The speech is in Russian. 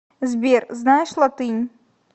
сбер знаешь латынь